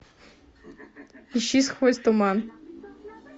ищи сквозь туман